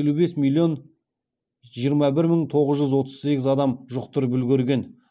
елу бес миллион жиырма бір мың тоғыз жүз отыз сегіз адам жұқтырып үлгерген